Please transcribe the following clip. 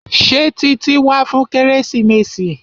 Ṣé Títí wá fún kérésìmesì?